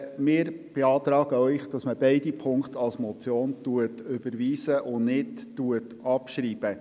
Wir beantragen Ihnen, beide Punkte als Motion zu überweisen und sie nicht abzuschreiben.